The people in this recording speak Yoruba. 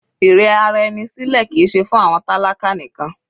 Ìrẹra ẹni sílẹ̀ kìí ṣe fún àwọn tálákà nìkan.